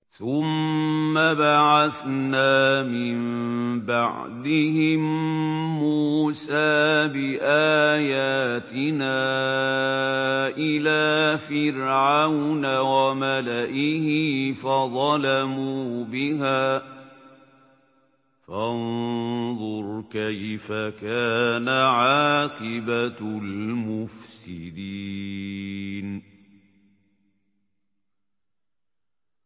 ثُمَّ بَعَثْنَا مِن بَعْدِهِم مُّوسَىٰ بِآيَاتِنَا إِلَىٰ فِرْعَوْنَ وَمَلَئِهِ فَظَلَمُوا بِهَا ۖ فَانظُرْ كَيْفَ كَانَ عَاقِبَةُ الْمُفْسِدِينَ